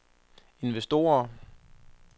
investorer